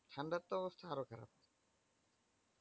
ঠান্ডার তো অবস্থা আরো খারাপ।